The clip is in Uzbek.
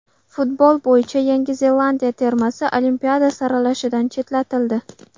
Futbol bo‘yicha Yangi Zelandiya termasi Olimpiada saralashidan chetlatildi.